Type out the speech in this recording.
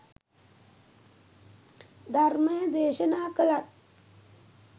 ධර්මය දේශනා කළත්